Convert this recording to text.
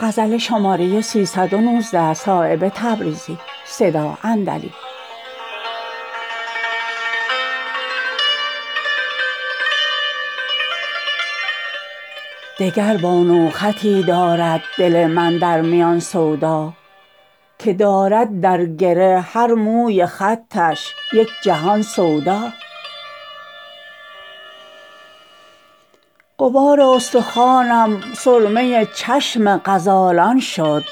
دگر با نوخطی دارد دل من در میان سودا که دارد در گره هر موی خطش یک جهان سودا غبار استخوانم سرمه چشم غزالان شد